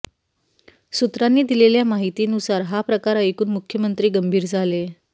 सूत्रांनी दिलेल्या माहितीनुसार हा प्रकार ऐकून मुख्यमंत्री गंभीर झाले